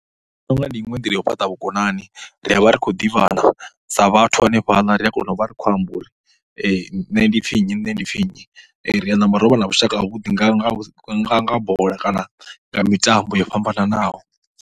Ndi pfha u nga ndi iṅwe nḓila ya u fhaṱa vhukonani ri a vha ri khou ḓivhana sa vhathu hanefhaḽa ri ya kona u vha ri khou amba uri nṋe ndi pfhi nnyi, nṋe ndi pfhi nnyi. Ri a namba ro vha na vhushaka havhuḓi nga nga nga bola kana nga mitambo yo fhambanaho.